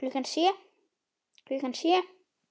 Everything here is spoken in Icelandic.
Klukkan sjö.